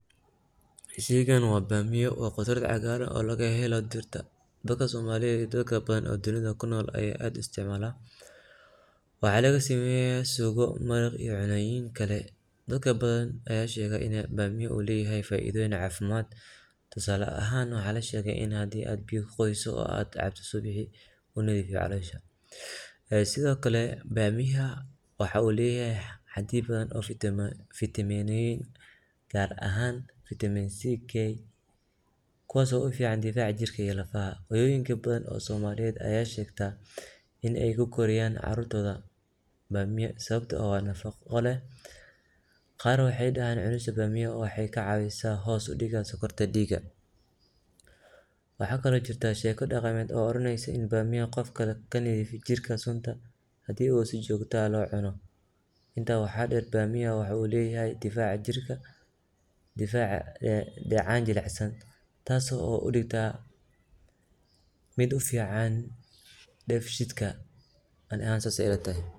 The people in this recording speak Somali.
Sheeygan wa damiya wa qoodrad cagaran oo lagaheloh dirta, dadka somaliyeet iyo dadka bathana dunitha kunol aya aad u istcmahalah waxalasameeyah sugoo maraq iyo malayinkali dadkali waxay sheegen inu faitha oo leeyahay iyo cafimad tusaali ahaan waxalsheegi inu biyakaqotheysoh aad cabtoh subixi unabixiyoh callosha, sethokali daamiyaha waxu leeyahay hadeeda bathan oo fateminaaa kaaar ahaan vitaminck kuwao ufican difaca jirka iyo lafaha, hoyinka bathan Aya sheeta Ina ku kiriyahbcarurta waxakali jirtah sheeko daqeemot oo urineysoh in daamiyaha qoifkali jirkeesa handu oo si jokta aah lo cuunoh, inta waxadheer daamiya waxu leeyahay difaca jirka dacan jelicsan taasi oo u degtaa mid u fiacn dabsheetka Ani ahaan sas ilatahay.